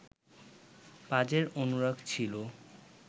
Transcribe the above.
পাজের অনুরাগ ছিল